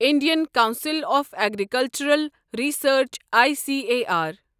Indian council of agricultural research I C A R